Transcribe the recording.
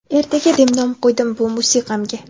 "Ertaga" deb nom qo‘ydim bu musiqamga.